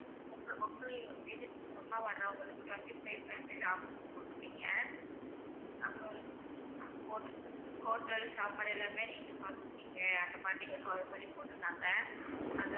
உங்க உங்க agency மூலமா வர்றவங்களுக்கு twenty five percentage offer னு போட்டிருந்தீங்க அப்பறம் ho~ hotel சாப்பாடு எல்லாமே நீங்க பாத்துப்பீங்க அந்த மாதிரி நீங்க போட்டிருந்தாங்க